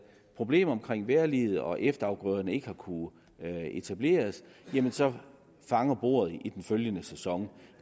problemer med vejrliget og har efterafgrøderne ikke kunnet etableres jamen så fanger bordet i den følgende sæson